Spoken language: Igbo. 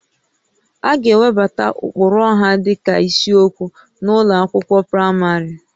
A ga-ewebata ụkpụrụ ọha dịka isiokwu n'ụlọ akwụkwọ praịmarị